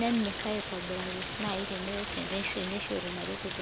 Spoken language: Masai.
nemir aitobiraki nai tenishori ina reteto.